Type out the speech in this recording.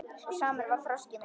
Og samur var þroski minn.